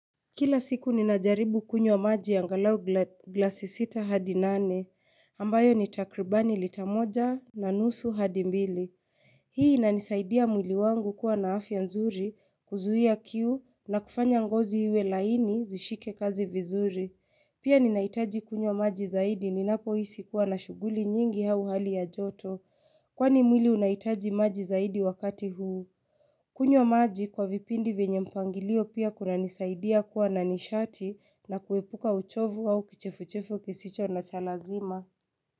Kila siku ninajaribu kunywa maji angalau gla glasi sita hadi nane, ambayo ni takribani lita moja na nusu hadi mbili. Hii inanisaidia mwili wangu kuwa na afya nzuri kuzuia kiu na kufanya ngozi iwe laini zishike kazi vizuri. Pia ninahitaji kunywa maji zaidi ninapo hisi kuwa na shughuli nyingi hau hali ya joto, kwani mwili unahitaji maji zaidi wakati huu. Kunywa maji kwa vipindi venye mpangilio pia kuna nisaidia kuwa na nishati na kuepuka uchovu au kichefuchefu kisicho na cha lazima.